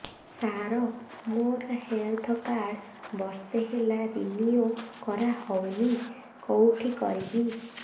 ସାର ମୋର health card ବର୍ଷେ ହେଲା ରିନିଓ କରା ହଉନି କଉଠି କରିବି